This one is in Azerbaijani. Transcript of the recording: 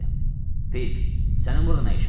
Pip, sənin burda nə işin var?